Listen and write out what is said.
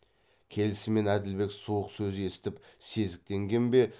келісімен әділбек суық сөз естіп сезіктенген бе